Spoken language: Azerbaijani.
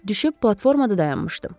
Düşüb platformada dayanmışdım.